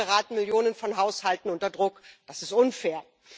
So geraten Millionen von Haushalten unter Druck das ist unfair.